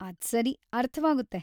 ಅದ್ಸರಿ! ಅರ್ಥವಾಗುತ್ತೆ.